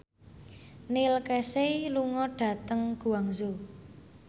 Neil Casey lunga dhateng Guangzhou